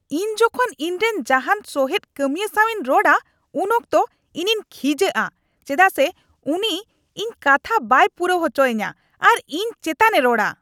ᱤᱧ ᱡᱚᱠᱷᱚᱱ ᱤᱧᱨᱮᱱ ᱡᱟᱦᱟᱱ ᱥᱚᱦᱮᱫ ᱠᱟᱹᱢᱤᱣᱟ ᱥᱟᱶᱤᱧ ᱨᱚᱲᱟ ᱩᱱ ᱚᱠᱛᱚ ᱤᱧᱤᱧ ᱠᱷᱤᱡᱟᱹᱼᱟ ᱪᱮᱫᱟᱜ ᱥᱮ ᱩᱱᱤ ᱤᱧ ᱠᱟᱛᱷᱟ ᱵᱟᱭ ᱯᱩᱨᱟᱹᱣ ᱚᱪᱚ ᱟᱹᱧᱟᱹ ᱟᱨ ᱤᱧ ᱪᱮᱛᱟᱱᱮ ᱨᱚᱲᱟ ᱾